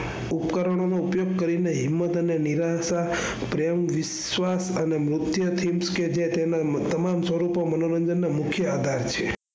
ઉપકરણો નો ઉપયોગ કરીને હિમત અને નિરાશા, પ્રેમ, વિશ્વાસ અને મુખ્ય અતિથ કે જે તેના તમામ સ્વરૂપો મનોરંજન ના મુખ્ય આધાર છે.